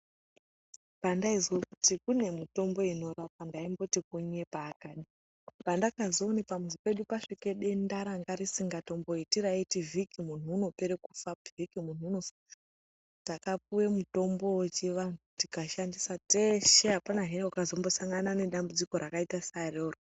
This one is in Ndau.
Pandaizwa kuti kune mitombo inorapa ndaimboti kunyepa akadi. Panda kazoona pamuzi pedu pasvika denda ranga risikamboiti raiti vhiki muntu unopera kufa . Takupuwa mutombo wechiwantu tika shandisa teshe . Apanahe wakazo mbosangana nedambudziko rakaita saroro.